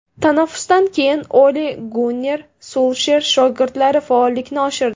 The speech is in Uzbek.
Tanaffusdan keyin Ole-Gunner Sulsher shogirdlari faollikni oshirdi.